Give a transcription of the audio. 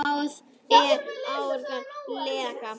Það er ágæt regla.